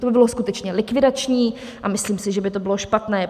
To by bylo skutečně likvidační a myslím si, že by to bylo špatné.